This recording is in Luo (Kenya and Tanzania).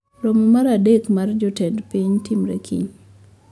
Romo mar adek mar jotend piny timre kiny